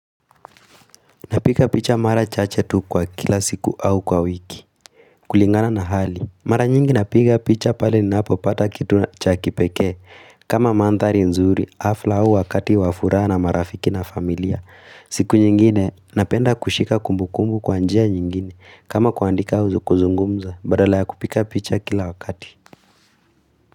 Napika picha mara chache tu kwa kila siku au kwa wiki. Kulingana na hali, mara nyingi napiga picha pale ninapo pata kitu na cha kipekee. Kama mandhari nzuri, afla au wakati wa furaha na marafiki na familia. Siku nyingine, napenda kushika kumbu kumbu kwa njia nyingine. Kama kuandika huzu kuzungumza, badala ya kupiga picha kila wakati.